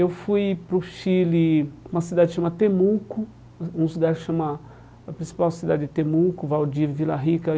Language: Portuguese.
Eu fui para o Chile, uma cidade chama Temuco, um uma cidade chama, a principal cidade de Temuco, Valdivia, Vila Rica.